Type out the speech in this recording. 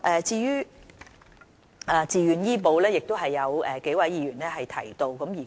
至於自願醫保計劃，亦有多位議員提及。